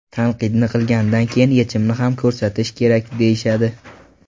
Tanqidni qilgandan keyin yechimni ham ko‘rsatish kerak, deyishadi.